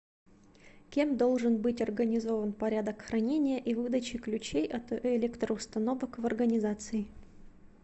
кем должен быть организован порядок хранения и выдачи ключей от электроустановок в организации